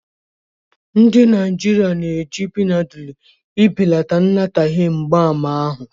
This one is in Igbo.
Ndị Naijiria na-eji Benadilu ibelata anataghi mgbaàmà ahụ.